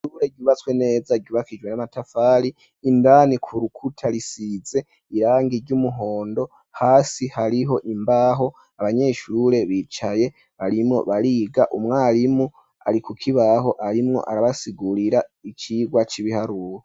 ishure ry,ubatswe neza ryubakishijwe n'amatafari indani ku rukuta risize irangi ry'umuhondo hasi hariho imbaho abanyeshure bicaye barimwo bariga umwarimu ari kukibaho arimwo arabasigurira icigwa c'ibiharuro